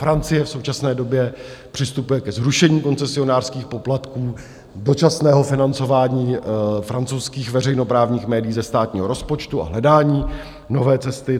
Francie v současné době přistupuje ke zrušení koncesionářských poplatků, dočasného financování francouzských veřejnoprávních médií ze státního rozpočtu a hledání nové cesty.